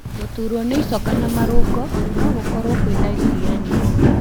Gũturwo nĩ icoka na marũngo no gũkorwo kwĩ ndariri ya pneumonia.